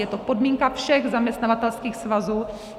Je to podmínka všech zaměstnavatelských svazů.